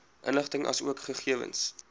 inligting asook gegewens